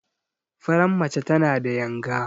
Faran mace tana da yanga.